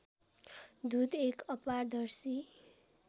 दूध एक अपारदर्शी